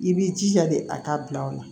I b'i jija de a k'a bila aw la